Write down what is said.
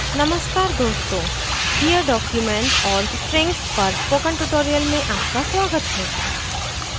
नमस्कार दोस्तों here document और strings पर spoken tutorial में आपका स्वागत है